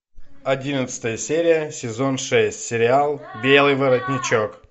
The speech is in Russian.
одиннадцатая серия сезон шесть сериал белый воротничок